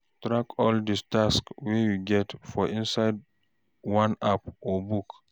Track all di task wey you get for inside one app or book